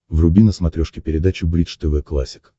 вруби на смотрешке передачу бридж тв классик